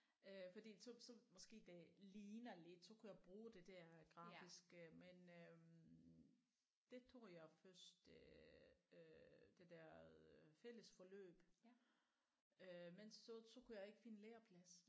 Øh fordi så så måske det ligner lidt så kunne jeg bruge det der grafiske men øh det tog jeg først øh det der øh fælles forløb øh men så så kunne jeg ikke finde lærerplads